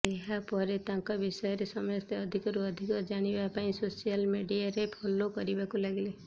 ଏହା ପରେ ତାଙ୍କ ବିଷୟରେ ସମସ୍ତେ ଅଧିକରୁ ଅଧିକ ଜାଣିବା ପାଇଁ ସୋସିଆଲ ମିଡିଆରେ ଫଲୋ କରିବାକୁ ଲାଗିଲେ